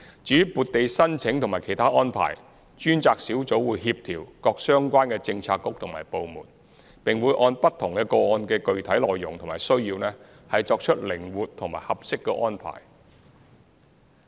至於撥地申請和其他安排，專責小組會協調各相關的政策局和部門，並會按不同個案的具體內容和需要作出靈活和合適的安排。